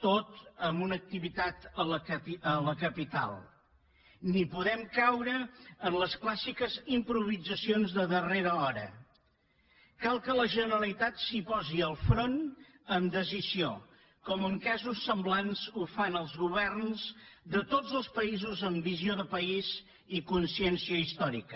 tot en una activitat a la capital ni podem caure en les clàssiques improvisacions de darrera hora cal que la generalitat s’hi posi al capdavant amb decisió com en casos semblants ho fan els governs de tots els països amb visió de país i consciència històrica